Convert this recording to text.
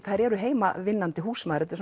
þær eru heimavinnandi húsmæður þetta